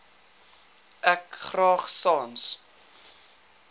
ek graag sans